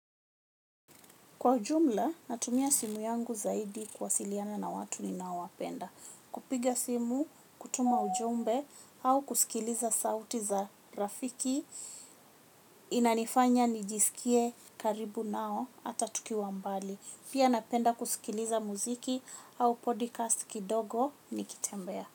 Kwa ujumla, natumia simu yangu zaidi kuwasiliana na watu ninaowapenda. Kupiga simu, kutuma ujumbe, au kusikiliza sauti za rafiki, inanifanya nijisikie karibu nao, hata tukiwa mbali. Pia napenda kusikiliza muziki, au podcast kidogo, nikitembea.